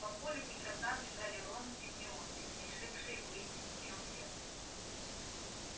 по полю к игрокам бежали рон с гермионой решившие выяснить в чём дело